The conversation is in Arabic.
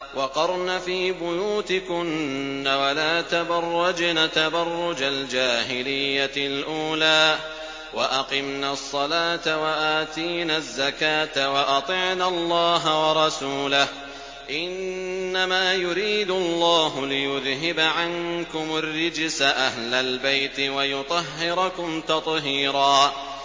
وَقَرْنَ فِي بُيُوتِكُنَّ وَلَا تَبَرَّجْنَ تَبَرُّجَ الْجَاهِلِيَّةِ الْأُولَىٰ ۖ وَأَقِمْنَ الصَّلَاةَ وَآتِينَ الزَّكَاةَ وَأَطِعْنَ اللَّهَ وَرَسُولَهُ ۚ إِنَّمَا يُرِيدُ اللَّهُ لِيُذْهِبَ عَنكُمُ الرِّجْسَ أَهْلَ الْبَيْتِ وَيُطَهِّرَكُمْ تَطْهِيرًا